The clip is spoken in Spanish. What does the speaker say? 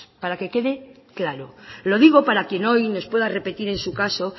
para que quede claro lo digo para quien hoy nos pueda repetir en su caso